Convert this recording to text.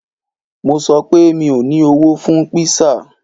Mo sọ pé, mi ò ní owó fún kpísà